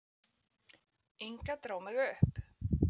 Inga dró mig upp.